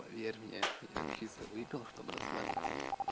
поверь мне я чисто выпил чтобы расслабиться